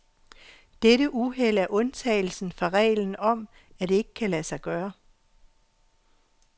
Dette uheld er undtagelsen fra regelen om, at det ikke kan lade sig gøre.